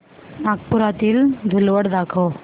नागपुरातील धूलवड दाखव